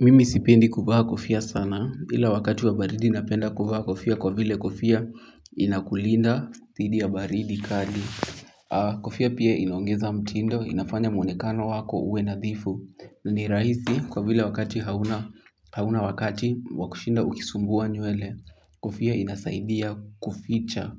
Mimi sipendi kuvaa kofia sana, ila wakati wa baridi napenda kuvaa kofia kwa vile kofia inakulinda dhidi ya baridi kali. Kofia pia inaongeza mtindo, inafanya mwonekano wako uwe nadhifu. Ni rahisi kwa vile wakati hauna wakati wa kushinda ukisumbua nywele. Kofia inasaidia